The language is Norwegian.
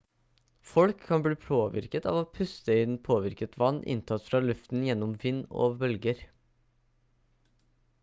folk kan bli påvirket av å puste inn påvirket vann inntatt fra luften gjennom vind og bølger